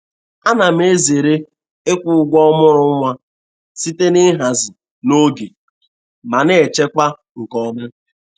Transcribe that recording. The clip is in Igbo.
A na m ezere ịkwụ ụgwọ ọmụrụ nwa site n'ihazi n'oge ma na-echekwa nke ọma